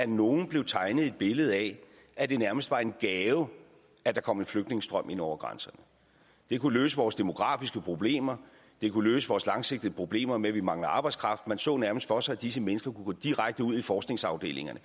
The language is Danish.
nogle blev tegnet et billede af at det nærmest var en gave at der kom en flygtningestrøm ind over grænserne det kunne løse vores demografiske problemer det kunne løse vores langsigtede problemer med at vi mangler arbejdskraft man så nærmest for sig at disse mennesker kunne gå direkte ud i forskningsafdelingerne